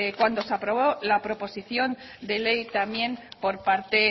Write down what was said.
cuando se aprobó la proposición de ley también por parte